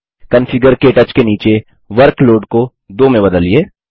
configure क्टच के नीचे वर्कलोड को 2 में बदलिए